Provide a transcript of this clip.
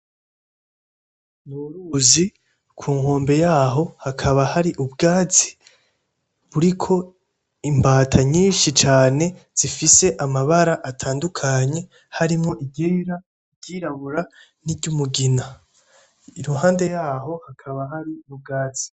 N'uruzi, kunkombe yaho hakaba hari ubwatsi ,buriko imbata nyinshi cane ,zifise amabara atandukanye ,harimwo iryera, iryirabura, niry'umugina. Iruhande yaho hakaba hari ubwatsi.